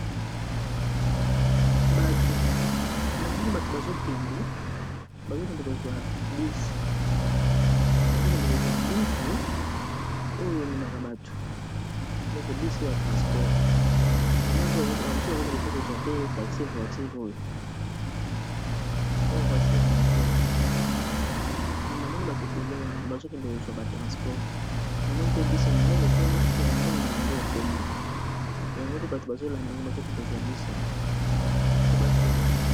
Batu, namani batu bazokende kozua bus oyo emaka bato, donc bus oyo ya transport, namoni pe ba misusu bazokende kozua taxi voiture oyo, namoni pe bus monene kuna yango eza ya pembe, yango pe bato bazolanda yango bazokende kozwa bus yango po bakende.